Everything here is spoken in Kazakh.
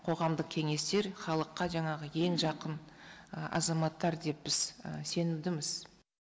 қоғамдық кеңестер халыққа жаңағы ең жақын азаматтар деп біз сенімдіміз